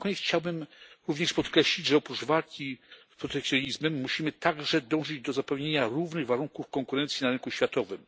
Na koniec chciałbym również podkreślić, że oprócz walki z protekcjonizmem musimy także dążyć do zapewnienia równych warunków konkurencji na rynku światowym.